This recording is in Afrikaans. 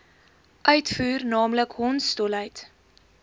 uitvoer naamlik hondsdolheid